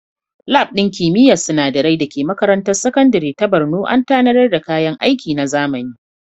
Lab ɗin kimiyyar sinadarai da ke makarantar sakandare ta Borno an tanadar da kayan aiki na zamani.